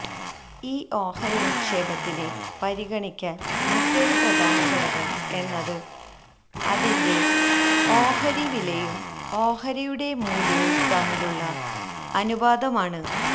ഈ ഓഹരി നിക്ഷേപത്തിന് പരിഗണിക്കാന് മറ്റൊരു പ്രധാന ഘടകം എന്നത് അതിന്റെ ഓഹരി വിലയും ഓഹരിയുടെ മൂല്യവും തമ്മിലുള്ള അനുപാതമാണ്